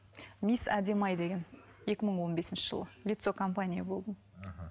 мисс әдемі ай деген екі мың он бесінші жылы лицо компании болдым мхм